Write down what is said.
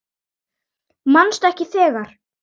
Manstu ekki þegar